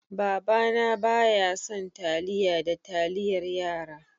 Baba na bayasan taliya da taliyar yara.